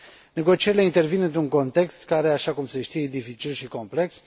Negocierile intervin într un context care, așa cum se știe, e dificil și complex.